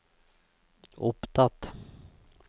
opptatt